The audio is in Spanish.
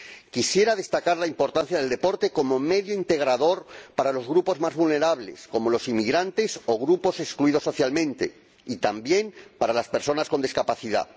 Quisiera destacar la importancia del deporte como medio integrador para los grupos más vulnerables, como los inmigrantes o grupos excluidos socialmente, y también para las personas con discapacidad.